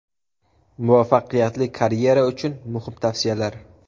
Muvaffaqiyatli karyera uchun muhim tavsiyalar.